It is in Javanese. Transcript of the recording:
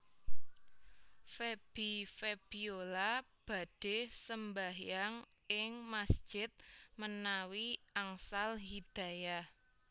Feby Febiola badhe sembahyang ing masjid menawi angsal hidayah